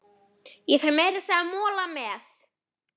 Ég fæ meira að segja mola með.